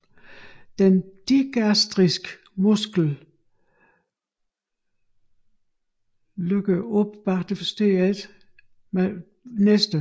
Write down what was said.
Den digastriske muskel løkker op bag masseteren til hyoidbenet